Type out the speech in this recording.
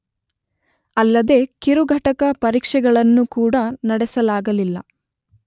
ಅಲ್ಲದೇ ಕಿರು ಘಟಕ ಪರೀಕ್ಷೆಗಳನ್ನು ಕೂಡ ನಡೆಸಲಾಗಲಿಲ್ಲ.